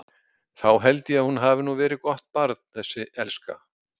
Þá held ég að hún hafi nú verið gott barn þessi elska.